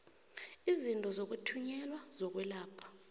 izinto zokuthunyelwa zokwelapha